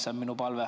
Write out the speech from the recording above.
See on minu palve.